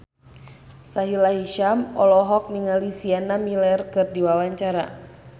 Sahila Hisyam olohok ningali Sienna Miller keur diwawancara